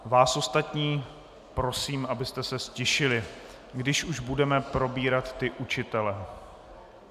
Vás ostatní prosím, abyste se ztišili, když už budeme probírat ty učitele.